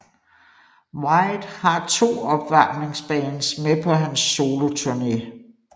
White har 2 opvarmingsbands med på hans soloturne